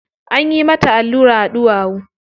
Anyi mata allura a ɗuwawu.